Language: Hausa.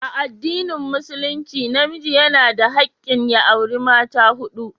A addinin musulunci namiji yana da hakkin ya auri mata hudu.